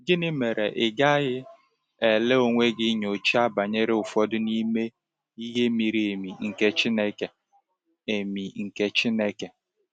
Gịnị mere ị gaghị ele onwe gị nyocha banyere ụfọdụ n’ime “ihe miri emi nke Chineke”? emi nke Chineke”?